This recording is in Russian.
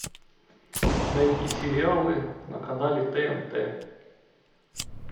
найти сериалы на канале тнт